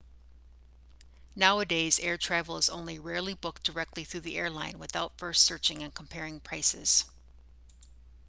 nowadays air travel is only rarely booked directly through the airline without first searching and comparing prices